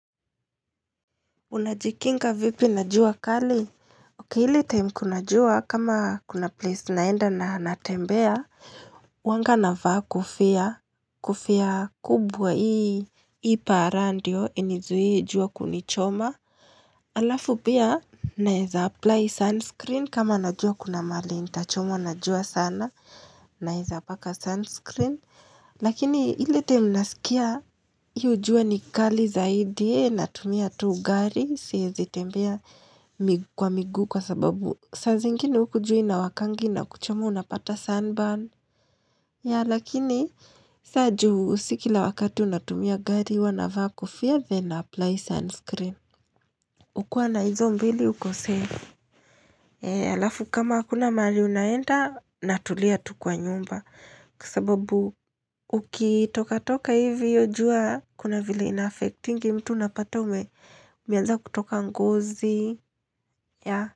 Unajikinga vipi na jua kali ok hili time kuna jua kama kuna place naenda na natembea huwanga navaa kofia kofia kubwa hii hii para ndio inizue jua kunichoma halafu pia naweza apply sunscreen kama najua kuna mahali nitachomwa na jua sana naweza paka sunscreen Lakini ile time nasikia hiyo jua ni kali zaidi na tumia tuu gari siwezi tembea mikwa miguu kwa sababu saa zingine huku jua inawakanga inakuchoma unapata sunburn Yah lakini saa juu sikila wakati unatumia gari huwanavaa kofia then ninaapply sunscreen Ukiwa na hizo mbili ukosei halafu kama hakuna mahali unaenda natulia tu kwa nyumba kwasababu ukitoka toka hivi iyojua kuna vile inaffectingi mtu unapataume umeanza kutoka ngozi ya.